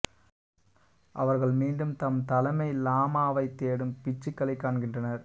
அவர்கள் மீண்டும் தம் தலைமை லாமாவைத் தேடும் பிட்சுக்களை காண்கின்றனர்